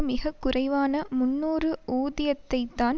மிகக்குறைவான முன்னூறு ஊதியத்தைத்தான்